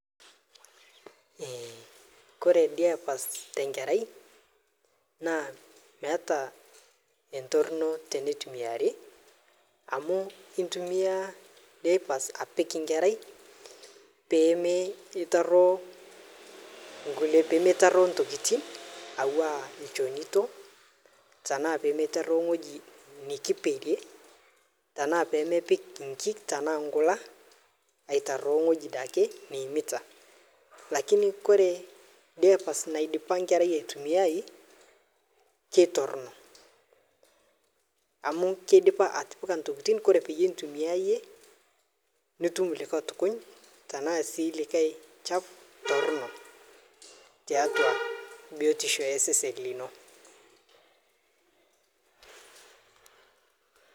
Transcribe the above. Ore diapers tee nkerai naa meeta entorono tenintumiai amu entumia diapers apik enkerai pee Mii tarue entokitin ena elonito tenaa mitaruo ewueji nikiperie tenaa pemepik enkik ena nkulak aitaruo ewueji ake neyimita lakini ore diapers naidipa enkerai aitumia kitorrono amu kidipa atipika entokitin ore pee entumia eyie nitum likae chafu Torono tiatua biotisho osesen lino